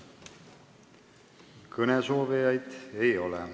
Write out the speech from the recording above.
Kõnesoovijaid ei ole.